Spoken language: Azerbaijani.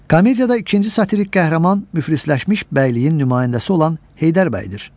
Komediyada ikinci satirik qəhrəman müflisləşmiş bəyliyin nümayəndəsi olan Heydər Bəydir.